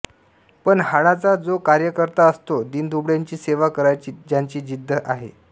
पण हाडाचा जो कार्यकर्ता असतो दीनदुबळ्यांची सेवा करायची ज्याची जिद्ध आहे